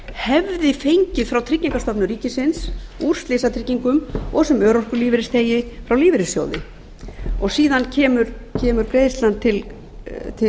hefði fengið frá tryggingastofnun ríkisins úr slysatryggingum og sem örorkulífeyrisþegi frá lífeyrissjóði síðan kemur greiðslan til